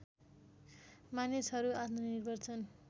मानिसहरू आत्मनिर्भर छन्